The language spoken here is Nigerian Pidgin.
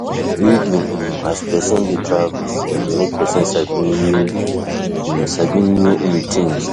Reading um as person dey travel de um make persin sabi new um sabi new um thing